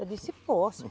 Eu disse, posso.